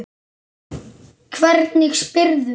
Hvernig spyrðu.